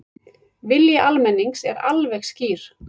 Vilji almennings er alveg skýr